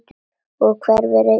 Og hverfur einn daginn.